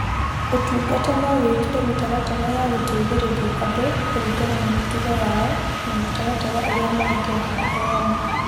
Ũtungata no wĩkĩre mĩtaratara ya gũteithĩrĩria andũ kũringana na mĩtugo yao na mũtaratara ũrĩa mangĩenda kũheana.